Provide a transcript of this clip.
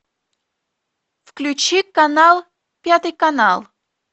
включи канал пятый канал